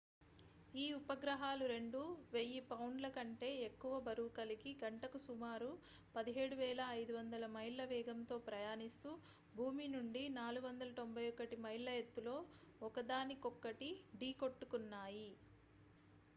ఈ ఉపగ్రహాలు రెండూ 1,000 పౌండ్ల కంటే ఎక్కువ బరువు కలిగి గంటకు సుమారు 17,500 మైళ్ళ వేగంతో ప్రయాణిస్తూ భూమి నుండి 491 మైళ్ళ ఎత్తులో ఒకదానికొక్కటి ఢీ కొట్టుకున్నాయి